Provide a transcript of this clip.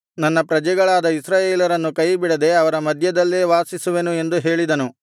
ನನ್ನ ಪ್ರಜೆಗಳಾದ ಇಸ್ರಾಯೇಲರನ್ನು ಕೈಬಿಡದೆ ಅವರ ಮಧ್ಯದಲ್ಲೇ ವಾಸಿಸುವೆನು ಎಂದು ಹೇಳಿದನು